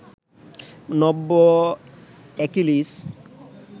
নব্য অ্যাকিলিস